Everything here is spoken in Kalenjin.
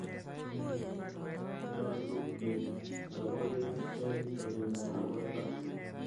Nyalu kechopokee eng' sobenyo nepo tai.